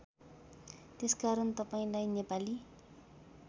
त्यसकारण तपाईँलाई नेपाली